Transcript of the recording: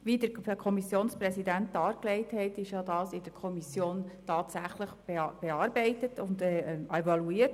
Wie der Kommissionspräsident dargelegt hat, wurde alles in der Kommission bearbeitet und evaluiert.